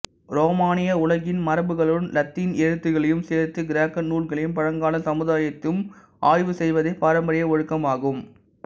ரோமானிய உலகின் மரபுகளுடன் இலத்தீன் எழுத்துகளையும் சேர்த்து கிரேக்க நூல்களையும் பழங்கால சமுதாயத்தையும் ஆய்வு செய்வதே பாரம்பரிய ஒழுக்கமாகும்